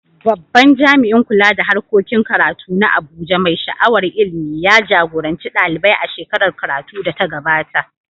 Babban jami’in kula da harkokin karatu na Abuja, mai sha’awar ilimi, ya jagoranci ɗalibai a shekarar karatu da ta gabata.